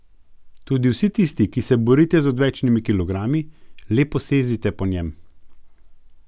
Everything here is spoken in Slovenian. Tudi vsi tisti, ki se borite z odvečnimi kilogrami, le posezite po njem.